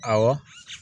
Awɔ